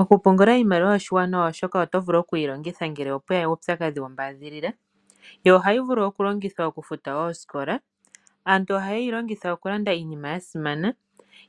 Oku pungula iimaliwa yoye oshiwanawa oshoka oto vulu oku yi longitha ngele opweya uupyakadhi wombaadhilila, yo ohayi vulu oku longithwa oku futa oosikola. Aantu ohaye yi longitha oku landa iinima ya simana,